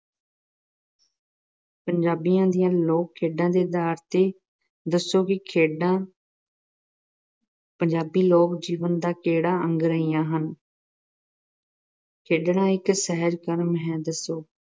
ਪੰਜਾਬ ਦੀਆਂ ਲੋਕ-ਖੇਡਾਂ ਦੇ ਆਧਾਰ ਤੇ ਦੱਸੋ ਕਿ ਖੇਡਾਂ ਪੰਜਾਬੀ ਲੋਕ-ਜੀਵਨ ਦਾ ਕਿਹੜਾ ਅੰਗ ਰਹੀਆਂ ਹਨ? ਖੇਡਣਾ ਇੱਕ ਸਹਿਜ ਕਰਮ ਹੈ। ਦੱਸੋ।